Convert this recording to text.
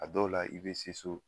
A dɔw la i be se so